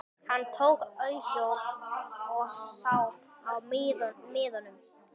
Hann tók ausu og saup af miðinum.